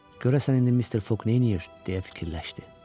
Görəsən indi Mister Foq neyləyir deyə fikirləşdi.